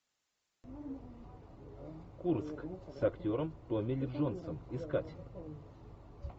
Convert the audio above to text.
курск с актером томми ли джонсом искать